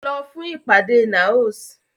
Lọ fún ìpàdé NAOS!